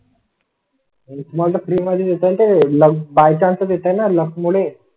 एक री मध्ये त्याला बाय चान्स देताना लक मुळे.